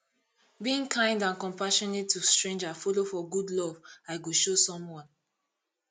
being kind and compassionate to stranger follow for good love i go show someone